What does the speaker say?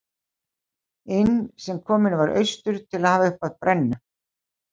inn sem kominn var austur til að hafa uppi á brennu